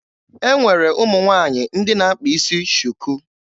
E nwere ụmụ nwaanyị ndị na-akpa isi shuku.